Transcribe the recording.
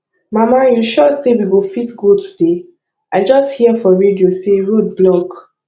mama you sure say we go fit go today i just hear for radio say road block